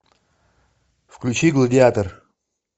включи гладиатор